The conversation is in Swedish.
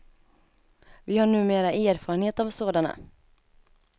Vi har numera erfarenhet av sådana.